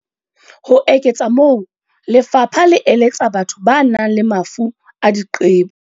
Ho eketsa moo, lefapha le eletsa batho ba nang le mafu a diqebo.